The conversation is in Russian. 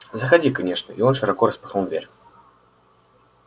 заходи конечно и он широко распахнул дверь